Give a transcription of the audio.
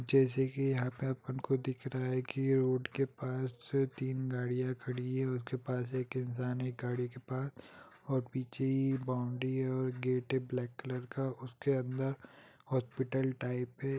जैसे की यहाँ पर आप उनको दिख रहा है की उनके पास तीन गाड़ियां खड़ी है| उनके पास एक इंसान है गाड़ी के पास और पीछे ही बॉउन्ड्री है और गेट है ब्लैक कलर का उसके अंदर हॉस्पिटल टाइप है।